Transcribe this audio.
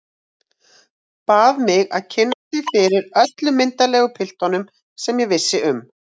Bað mig að kynna sig fyrir öllum myndarlegum piltum sem ég vissi um.